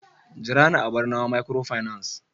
jira ni a barnawa microfinance